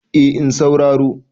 eh in sauraro